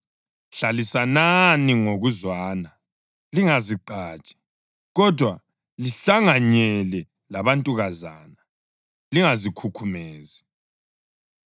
Hlalisanani ngokuzwana. Lingazigqaji, kodwa lihlanganyele labantukazana. Lingazikhukhumezi.